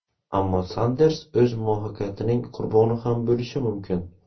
Ammo Sanders o‘z muvaffaqiyatining qurboni ham bo‘lishi mumkin.